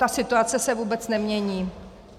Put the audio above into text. Ta situace se vůbec nemění.